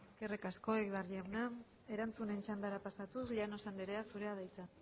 eskerrik asko egibar jauna erantzunen txandara pasatuz llanos andrea zurea da hitza